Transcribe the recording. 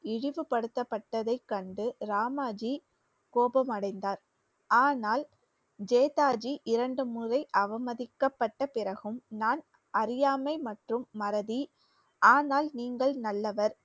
இழிவுபடுத்தப்பட்டதை கண்டு ராமாஜி கோபமடைந்தார் ஆனால் ஜேதாஜி இரண்டு முறை அவமதிக்கப்பட்ட பிறகும் நான் அறியாமை மற்றும் மறதி ஆனால் நீங்கள் நல்லவர்